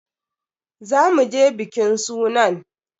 Za mu je bikin sunan.